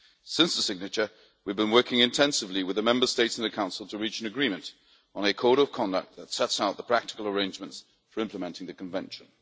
Since the signature, we have been working intensively with the Member States and the Council to reach an agreement on a Code of Conduct that sets out the practical arrangements for implementing the Convention.